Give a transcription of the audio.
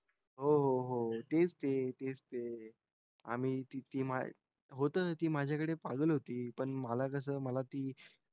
हो हो तेच ते तेच ते आम्ही ती माय होतो रे ती माझ्याकडे पागल होती पण मला कस मला ती